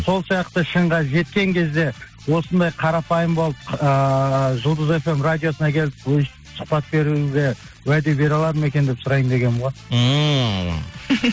сол сияқты шыңға жеткен кезде осындай қарапайым болып ыыы жұлдыз фм радиосына келіп өстіп сұхпат беруіне уәде бере алады ма екен деп сұрайын дегенім ғой ммм